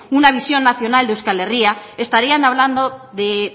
una visión nacional de euskal herria estarían hablando de